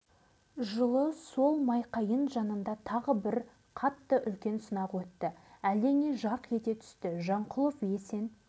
сол жылы мені мемлекеттік қауіпсіздік комитетіне жұмысқа алды да майқайың деген жердегі лагерьге жіберді